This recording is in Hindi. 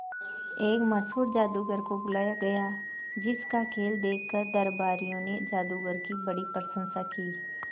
एक मशहूर जादूगर को बुलाया गया जिस का खेल देखकर दरबारियों ने जादूगर की बड़ी प्रशंसा की